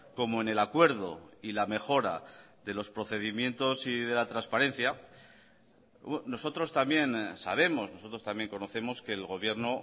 como en el acuerdo y la mejora de los procedimientos y de la transparencia nosotros también sabemos nosotros también conocemos que el gobierno